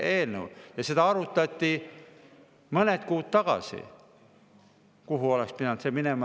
Mõned kuud tagasi arutati seda, kuhu see oleks pidanud minema.